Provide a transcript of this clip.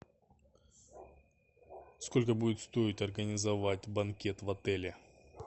сколько будет стоить организовать банкет в отеле